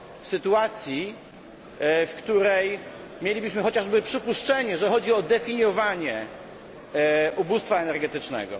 sytuacji, w której mielibyśmy chociaż przypuszczenie, że chodzi o definiowanie ubóstwa energetycznego.